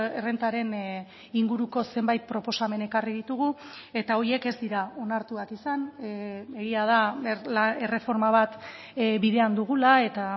errentaren inguruko zenbait proposamen ekarri ditugu eta horiek ez dira onartuak izan egia da erreforma bat bidean dugula eta